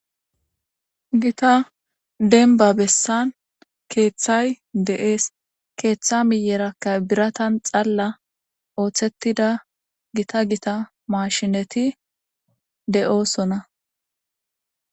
gita denba bessan keeththay de7ees keeththa miyerakka biratan xalla ooththettida gita gita maashineti de7oosona